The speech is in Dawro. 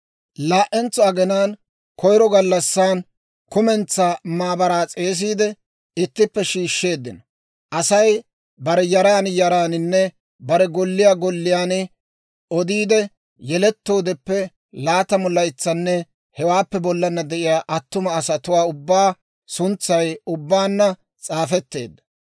Laa"entsa aginaan koyiro gallassi kumentsaa maabaraa s'eesiide, ittippe shiishsheeddino. Asay bare yaran yaraaninne bare golliyaan golliyaan odiide, yelettoodeppe laatamu laytsanne hewaappe bollana de'iyaa attuma asatuwaa ubbaa suntsay ubbaanna s'aafetteedda.